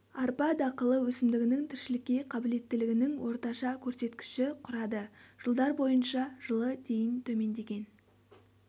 арпа дақылы өсімдігінің тіршілікке қабілеттілігінің орташа көрсеткіші құрады жылдар бойынша жылы дейін төмендеген